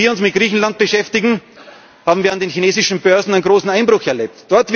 Während wir uns mit Griechenland beschäftigen, haben wir an den chinesischen Börsen einen großen Einbruch erlebt.